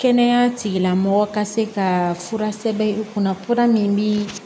Kɛnɛya tigilamɔgɔ ka se ka fura sɛbɛn i kunna kura min bi